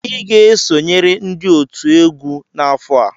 Ị ga-esonyere ndị otu egwu n'afọ a!